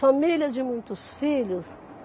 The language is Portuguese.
Família de muitos filhos.